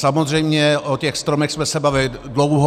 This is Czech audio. Samozřejmě o těch stromech jsme se bavili dlouho.